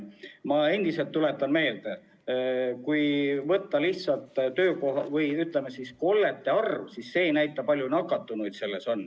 Ma tuletan veel kord meelde, et kollete arv ei näita seda, kui palju on nakatunuid.